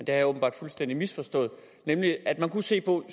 jeg åbenbart fuldstændig misforstået nemlig at man kunne se på